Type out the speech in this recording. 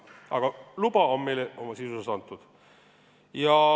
Aga luba on meile sisuliselt antud.